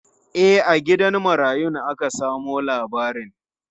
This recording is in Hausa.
E, a gidan marayun aka samo labarin.